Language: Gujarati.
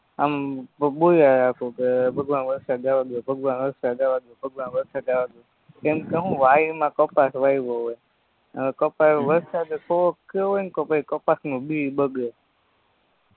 આમ પછી બોયલા રાખું કે ભગવાન વરસાદ આવવા દયો ભગવાન વરસાદ આવવા દયો ભગવાન વરસાદ આવવા દયો કેમ કે શું વાડીમાં કપાસ વાયવો હોય અને કપાસ વરસાદ થોડોક થયો હોયને તો પછી કપાસનું બી બગડે